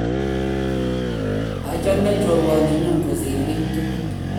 achame choruet ni nyo kosir kiy tugul